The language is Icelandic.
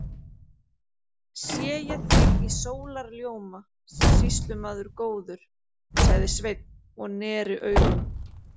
Sé ég þig í sólarljóma, sýslumaður góður, sagði Sveinn og neri augun.